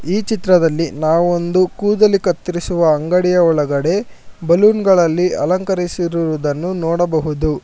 ಈ ಚಿತ್ರದಲ್ಲಿ ನಾವ ಒಂದು ಕೂದಲಿ ಕತ್ತಿರಿಸುವ ಅಂಗಡಿಯ ಒಳಗಡೆ ಬಲುನ್ ಗಳಲ್ಲಿ ಅಲಂಕರಿಸಿರುವುದನ್ನು ನೋಡಬಹುದು.